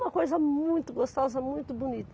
Uma coisa muito gostosa, muito bonita.